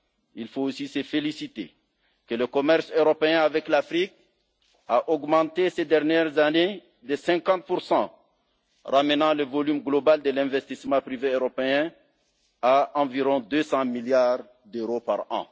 II faut aussi se féliciter que le commerce européen avec l'Afrique ait augmenté ces dernières années de 50 ramenant le volume global de l'investissement privé européen à environ 200 milliards d'euros par